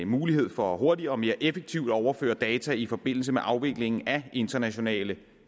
mulighed for hurtigere og mere effektivt at overføre data i forbindelse med afviklingen af internationale